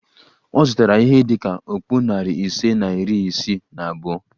Ọ zụtara ihe dị ka okpu narị ise na iri isii na abụọ